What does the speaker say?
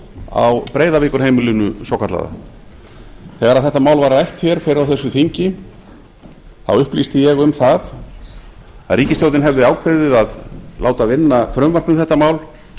á breiðavíkurheimilinu svokallaða þegar þetta mál var rætt hér fyrr á þessu þingi upplýsti ég um það að ríkisstjórnin hefði ákveðið að láta vinna frumvarp um þetta mál